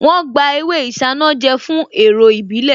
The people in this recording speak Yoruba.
Wọ́n gba ewé isanaje fún èrò ìbílè